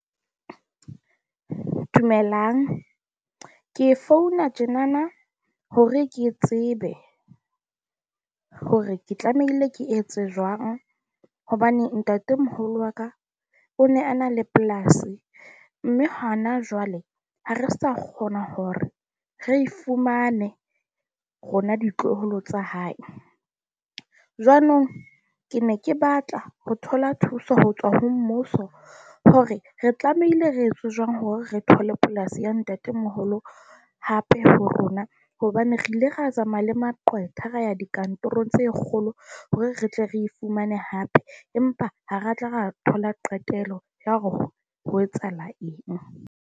Dumelang, ke founa tjenana hore ke tsebe hore ke tlamehile ke etse jwang hobane ntatemoholo wa ka o ne a na le polasi mme hona jwale ha re sa kgona hore re fumane rona ditloholo tsa hae. Jwanong ke ne ke batla ho thola thuso ho tswa ho mmuso hore re tlamehile re etse jwang hore re thole polasi ya ntatemoholo hape ho rona hobane re ile ra tsamaya le maqwetha, ra ya dikantorong tse kgolo hore re tle re e fumane hape, empa ha re tla ra thola qetelo ya ho ho etsahala eng.